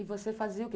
E você fazia o quê?